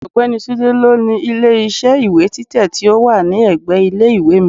Ọ̀gbẹ́ni Tunde ló ni ilé iṣẹ́ ìwé títẹ̀ tí ó wà ní ẹ̀gbẹ́ ilé ìwé mi.